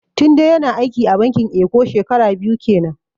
Tunde ya na aiki a bankin eko shekara biyu kenan